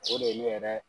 O de ye ne yɛrɛ